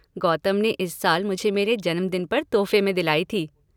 गौतम ने इस साल मुझे मेरे जन्म दिन पर तोहफे में दिलाई थी।